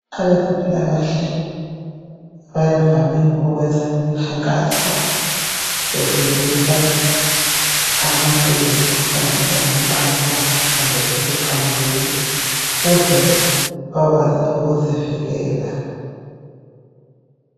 Abezempilakahle bavame ukwenza umkhankaso befundisa abantu ngemkhuhlane engaqamuka kumbe esiqamukile. Ukuze bakwazi ukuzivikela.